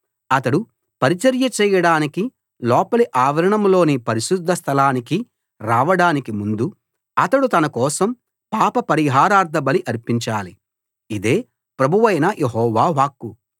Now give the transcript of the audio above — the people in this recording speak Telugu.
అతడు పరిచర్య చేయడానికి లోపలి ఆవరణంలోని పరిశుద్ధస్థలానికి రావడానికి ముందు అతడు తనకోసం పాప పరిహారార్థబలి అర్పించాలి ఇదే ప్రభువైన యెహోవా వాక్కు